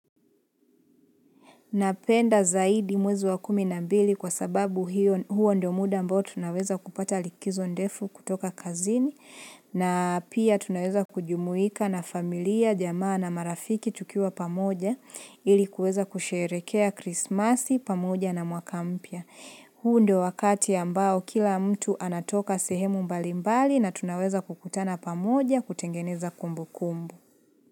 Napenda zaidi mwezi wa kumina mbili kwa sababu huo ndo muda mbao tunaweza kupata likizo ndefu kutoka kazini na pia tunaweza kujumuika na familia, jamaa na marafiki tukiwa pamoja ilikuweza kusherekea krismasi pamoja na mwakampya. Huu ndio wakati ambao kila mtu anatoka sehemu mbalimbali na tunaweza kukutana pamoja kutengeneza kumbu kumbu.